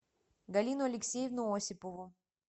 галину алексеевну осипову